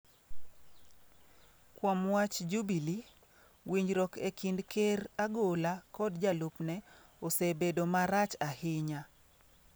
Kuom wach Jubilee, winjruok e kind Ker Agolla kod jalupne osebedo marach ahinya.